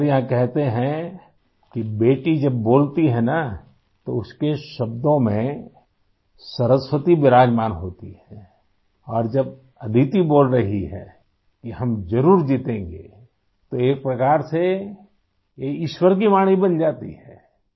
ہمارے یہاں کہتے ہیں کہ بیٹی جب بولتی ہے نا تو اس کےالفاظ میں سرسوتی وراجمان ہوتی ہے ، اور جب آدیتی بول رہی ہے کہ ہم ضرور جیتیں گے تو ایک طرح سے یہ ایشور کی آواز بن جاتی ہے